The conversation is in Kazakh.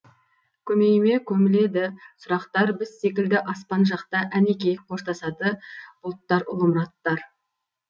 көмейіме көміледі сұрақтар біз секілді аспан жақта әнекей қоштасады бұлттар ұлы мұраттар